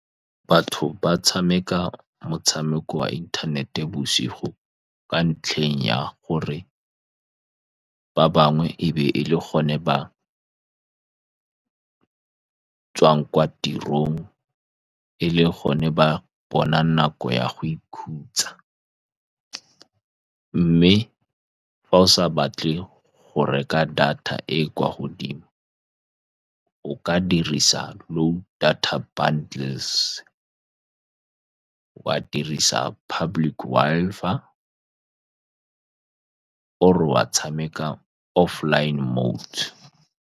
Batho ba tshameka motshameko wa inthanete bosigo, ka ntlheng ya gore ba bangwe e be e le gone ba tswang kwa tirong, e le gone ba bona nako ya go ikhutsa, mme fa o sa batle go reka data e e kwa godimo o ka dirisa low data bundles-e, wa dirisa public Wi-Fi or-e wa tshameka offline modes.